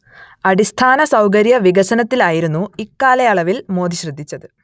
അടിസ്ഥാന സൗകര്യ വികസനത്തിലായിരുന്നു ഇക്കാലയളവിൽ മോദി ശ്രദ്ധിച്ചത്